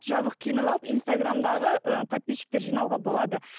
жабық киініп алып инстаграмдағы ііі подписчиктер жинауға болады